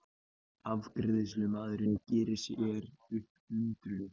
Afgreiðslumaðurinn gerir sér upp undrun.